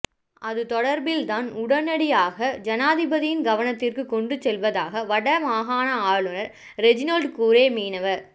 அது தொடர்பில் தான் உடனடியாக ஜனாதிபதியின் கவனத்திற்கு கொண்டு செல்வதாக வடமாகாண ஆளுனர் ரெஜினோல்ட் கூரே மீனவ